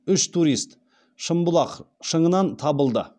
үш турист шымбұлақ шыңынан табылды